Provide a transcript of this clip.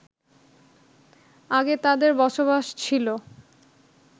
আগে তাদের বসবাস ছিলো